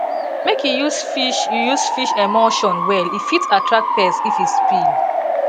make you use fish you use fish emulsion well e fit attract pest if e spill